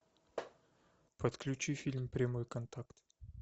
подключи фильм прямой контакт